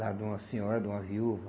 Lá de uma senhora, de uma viúva.